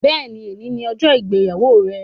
Béèni, òní ni ọjọ ìgbéyàwó rẹ